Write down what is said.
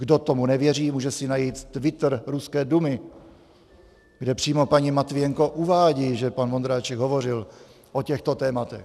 Kdo tomu nevěří, může si najít Twitter Ruské dumy, kde přímo paní Matvijenko uvádí, že pan Vondráček hovořil o těchto tématech.